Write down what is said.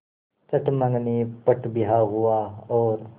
चट मँगनी पट ब्याह हुआ और